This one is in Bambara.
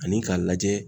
Ani k'a lajɛ